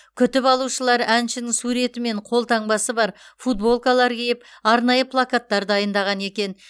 күтіп алушылар әншінің суреті мен қолтаңбасы бар футболкалар киіп арнайы плакаттар дайындаған екен